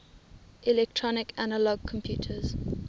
electronic analog computers